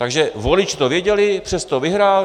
Takže voliči to věděli, přesto vyhrál.